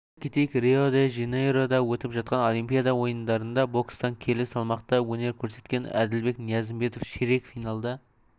айта кетейік рио-де-жанейрода өтіп жатқан олимпиада ойындарында бокстан келі салмақта өнер көрсеткен әділбек ниязымбетов ширек финалда